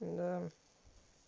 да